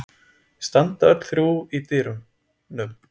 Standa öll þrjú í dyrunum.